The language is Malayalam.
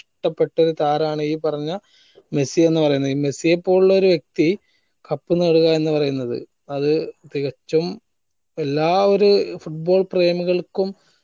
ഇഷ്ട്ടപ്പെട്ടൊരു താരാണ് ഈ പറഞ്ഞ മെസ്സി എന്ന് പറയണത് ഈ മെസ്സിയെ പോലുള്ളൊരു വ്യക്തി cup നേടുക എന്ന് പറയുന്നത് അത് തികച്ചും എല്ലാ ഒരു football പ്രേമികൾക്കും